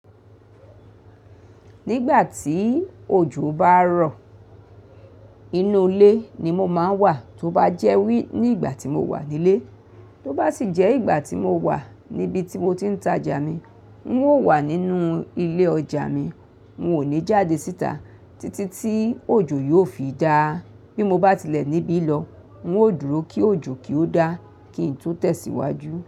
Nígbà tí òjò bá ń rọ̀, inú ilé ni mo máa ń wà, tó bá jẹ́ wí ní ìgbà tí mo wà nílé. Tó bá sì jẹ́ ìgbà tí mo wà níbi tí mo ti ń ta ọjà mi, ń ó wà nínú ilé ọjà mi. Mi ò ní jáde síta títí tí òjò yóò fi dà. Bí mo bá ti lẹ̀ níbí lọ, ń ó dúró kí òjò kí ó dà kí n tó tẹ̀síwájú.